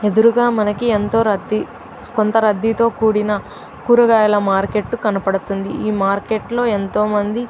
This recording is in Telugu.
ఎదురుగా మనకి ఎంతో రద్దీ కొంత రద్దీ తో కూడిన కూరగాయల మార్కెట్ కనపడుతుంది ఈ మార్కెట్ లో ఎంతో మంది --